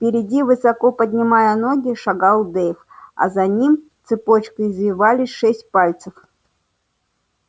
впереди высоко поднимая ноги шагал дейв а за ним цепочкой извивались шесть пальцев